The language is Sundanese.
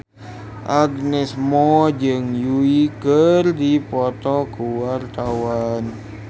Agnes Mo jeung Yui keur dipoto ku wartawan